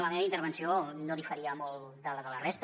la meva intervenció no diferia molt de les de la resta